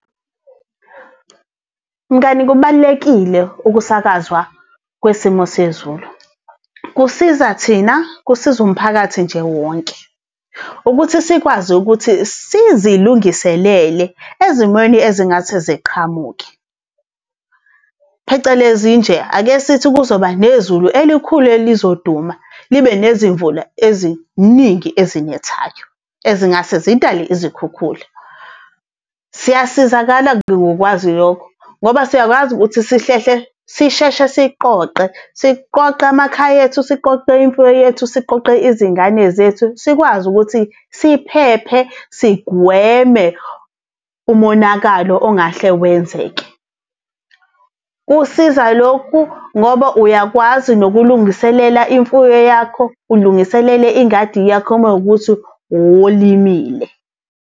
Mngani kubalulekile ukusakazwa kwesimo sezulu, kusiza thina, kusiza umphakathi nje wonke, ukuthi sikwazi ukuthi sizilungiselele ezimweni ezingase ziqhamuke. Phecelezi nje, ake sithi kuzoba nezulu elikhulu elizoduma libe nezimvula eziningi ezinethayo, ezingase zidale izikhukhula. Siyasizakala ngokwazi lokho, ngoba siyakwazi ukuthi sihlehle, sisheshe siqoqe, siqoqe amakhaya ethu, siqoqe imfuyo yethu, siqoqe izingane zethu, sikwazi ukuthi siphephe sigweme umonakalo ongahle wenzeke. Kusiza lokhu ngoba uyakwazi nokulungiselela imfuyo yakho ulungiselele ingadi yakho uma wukuthi uwolimile.